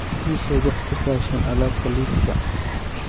ii sheeg wax ku saabsan alaabta liiska